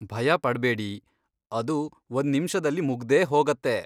ಭಯ ಪಡ್ಬೇಡಿ, ಅದು ಒಂದ್ನಿಮಿಷದಲ್ಲಿ ಮುಗ್ದೇ ಹೋಗತ್ತೆ.